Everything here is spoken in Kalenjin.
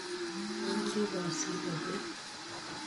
Awendi bosile beek.